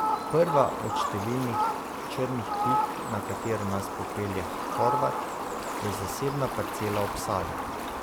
Prva od številnih črnih pik, na katero nas popelje Horvat, je zasebna parcela ob Savi.